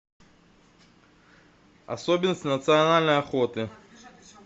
особенности национальной охоты